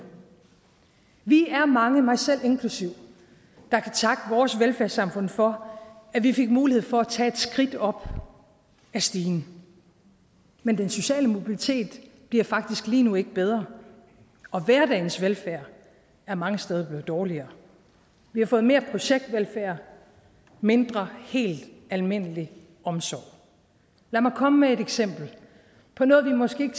vi er mange mig selv inklusive der kan takke vores velfærdssamfund for at vi fik mulighed for at tage et skridt op ad stigen men den sociale mobilitet bliver faktisk lige nu ikke bedre og hverdagens velfærd er mange steder dårligere vi har fået mere projektvelfærd mindre helt almindelig omsorg lad mig komme med et eksempel på noget vi måske ikke